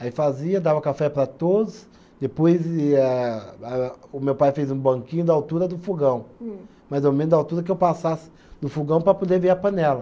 Aí fazia, dava café para todos, depois ia a, o meu pai fez um banquinho da altura do fogão. Hum. Mais ou menos da altura que eu passasse do fogão para poder ver a panela.